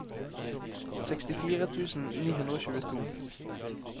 sekstifire tusen ni hundre og tjueto